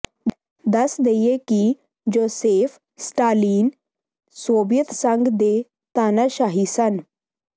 ਦੱਸ ਦੇਈਏ ਕਿ ਜੋਸੇਫ ਸਟਾਲਿਨ ਸੋਬਿਅਤ ਸੰਘ ਦੇ ਤਾਨਾਸ਼ਾਹ ਸਨ